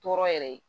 Tɔɔrɔ yɛrɛ ye